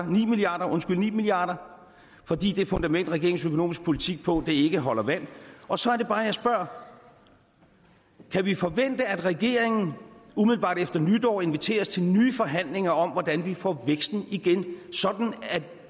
ni milliard ni milliard kr fordi det fundament regeringens økonomiske politik hviler på ikke holder vand og så er det bare jeg spørger kan vi forvente at regeringen umiddelbart efter nytår inviterer os til nye forhandlinger om hvordan vi får væksten igen sådan at